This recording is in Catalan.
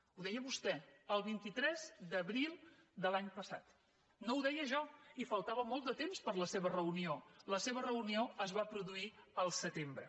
ho deia vostè el vint tres d’abril de l’any passat no ho deia jo i faltava molt de temps per a la seva reunió la seva reunió es va produir el setembre